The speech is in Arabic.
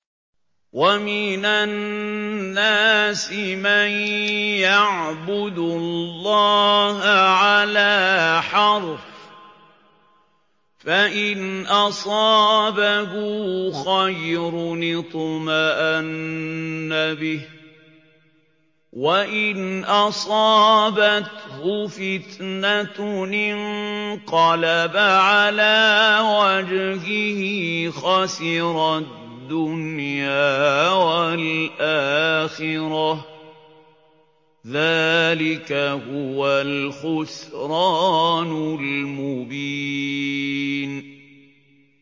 وَمِنَ النَّاسِ مَن يَعْبُدُ اللَّهَ عَلَىٰ حَرْفٍ ۖ فَإِنْ أَصَابَهُ خَيْرٌ اطْمَأَنَّ بِهِ ۖ وَإِنْ أَصَابَتْهُ فِتْنَةٌ انقَلَبَ عَلَىٰ وَجْهِهِ خَسِرَ الدُّنْيَا وَالْآخِرَةَ ۚ ذَٰلِكَ هُوَ الْخُسْرَانُ الْمُبِينُ